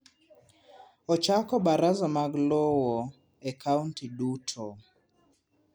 Ochako baraza mag lowo e kaunti duto.